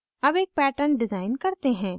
अब एक pattern design करते हैं